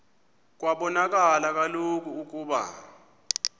kwabonakala kaloku ukuba